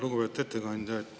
Lugupeetud ettekandja!